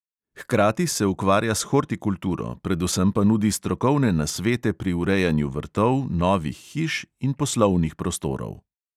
Hkrati se ukvarja s hortikulturo, predvsem pa nudi strokovne nasvete pri urejanju vrtov, novih hiš in poslovnih prostorov.